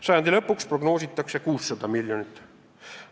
Sajandi lõpuks prognoositakse 600 miljonit.